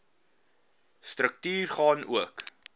struktuur gaan ook